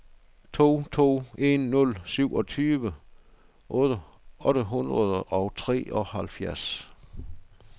to to en nul syvogtyve otte hundrede og treoghalvfjerds